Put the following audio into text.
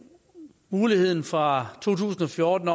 mulighed fra to tusind og fjorten